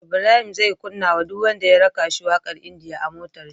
Ibrahim zai kunna wa duk wanda ya raka shi waƙar india a motar shi